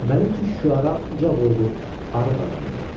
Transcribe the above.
Məliküşşüara uca boylu, arıq adam idi.